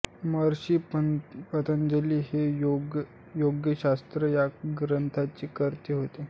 महर्षि पतंजलि हे योगशास्त्र या ग्रंथाचे कर्ते होत